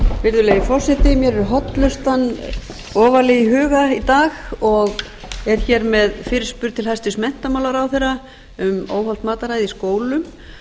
virðulegi forseti mér er hollustan ofarlega í huga í dag og er hér með fyrirspurn til hæstvirts menntamálaráðherra um óhollt mataræði í skólum og